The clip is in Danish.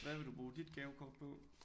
Hvad vil du bruge dit gavekort på?